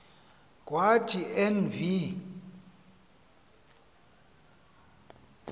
kwathi en v